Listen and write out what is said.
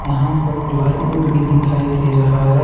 यहां पर प्लाईवुड भी दिखाई दे रहा है।